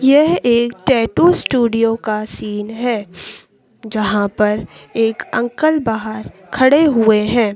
यह एक tattoo studio का सीन है जहाँ पर एक अंकल बाहर खड़े हुए हैं।